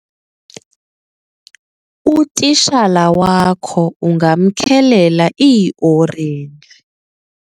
utitshala wakho ungamkhelela iiorenji